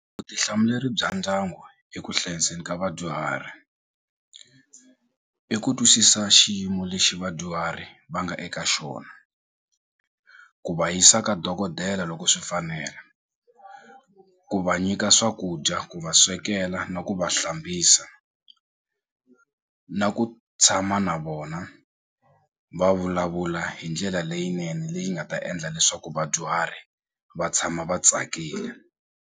Vutihlamuleri bya ndyangu eku hlayiseni ka vadyuhari i ku twisisa xiyimo lexi vadyuhari va nga eka xona ku va yisa ka dokodela loko swi fanela ku va nyika swakudya ku va swekela na ku va hlambisa na ku tshama na vona va vulavula hi ndlela leyinene leyi nga ta endla leswaku vadyuhari va tshama va tsakile.